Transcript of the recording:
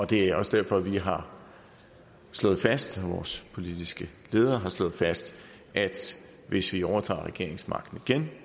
det er også derfor at vi har slået fast og at vores politiske leder har slået fast at hvis vi overtager regeringsmagten